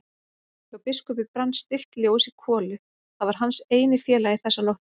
Hjá biskupi brann stillt ljós í kolu, það var hans eini félagi þessa nótt.